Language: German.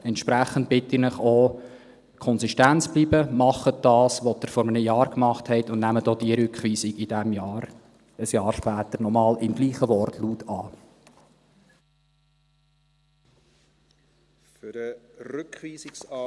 Entsprechend bitte ich Sie, konsistent zu bleiben: Machen Sie das, was Sie vor einem Jahr gemacht haben, und nehmen Sie auch die Rückweisung in diesem Jahr, ein Jahr später, im gleichen Wortlaut noch einmal an.